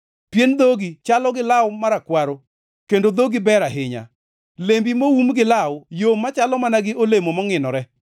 Pien dhogi chalo gi law marakwaro; kendo dhogi ber ahinya. Lembi moum gi law yom machalo mana gi olemo mongʼinore.